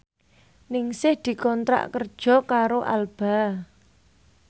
Ningsih dikontrak kerja karo Alba